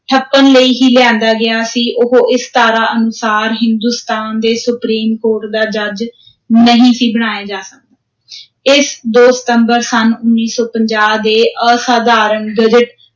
ਠੱਪਣ ਲਈ ਹੀ ਲਿਆਂਦਾ ਗਿਆ ਸੀ, ਉਹ ਇਸ ਧਾਰਾ ਅਨੁਸਾਰ, ਹਿੰਦੁਸਤਾਨ ਦੇ ਸੁਪ੍ਰੀਮ ਕੋਰਟ ਦਾ ਜੱਜ ਨਹੀਂ ਸੀ ਬਣਾਇਆ ਇਸ, ਦੋ ਸਤੰਬਰ ਸੰਨ ਉੱਨੀ ਸੌ ਪੰਜਾਹ ਦੇ ਅਸਾਧਾਰਣ ਗਜ਼ਟ